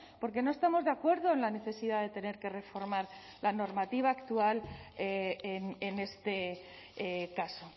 porque no estamos de acuerdo en la necesidad de tener que reformar la normativa actual en este caso